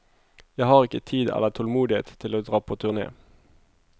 Jeg har ikke tid eller tålmodighet til å dra på turné.